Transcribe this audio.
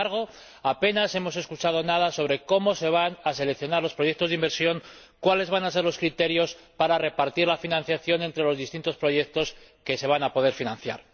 Sin embargo, apenas hemos escuchado nada sobre cómo se van a seleccionar los proyectos de inversión y cuáles van a ser los criterios para repartir la financiación entre los distintos proyectos que se van a poder financiar.